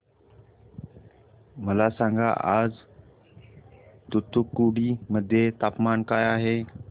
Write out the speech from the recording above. मला सांगा आज तूतुकुडी मध्ये तापमान काय आहे